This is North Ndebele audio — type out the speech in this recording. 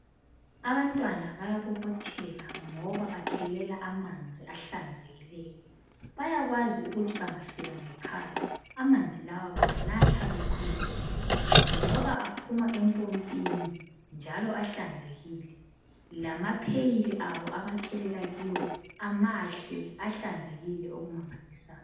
Abantwana bayabobotheka ngoba bakhelela amanzi ahlanzekileyo. Bayakwazi ukuthi bangafika ngekhaya amanzi lawa bawanatha bekhululekile ngoba aphuma empompini njalo ahlanzekile lamapheyili abo abakhelela kiwo mahle ahlanzekile okumangalisayo.